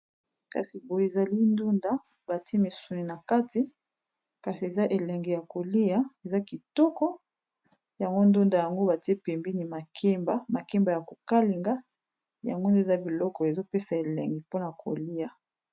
Awa tozali komona sani ezali na ndunda batiye misuni na kati, pembeni ezali makemba bakalinga. Bileyi kitoko nakiliya.